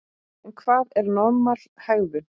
En hvað er normal hegðun?